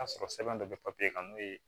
A sɔrɔ sɛbɛn dɔ bɛ papiye kan n'o ye